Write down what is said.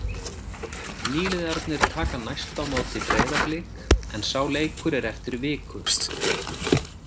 Nýliðarnir taka næst á móti Breiðablik en sá leikur er eftir viku.